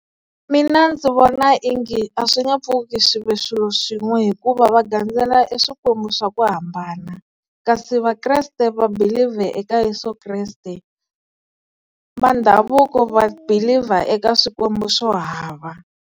Mina ndzi vona onge a swi nga pfuki swi ve swilo swin'we hikuva va gandzela eswikwembu swa ku hambana. Kasi vakreste va believe-a eka Yeso Kreste. Va ndhavuko va believe-a eka swikwembu swo hava.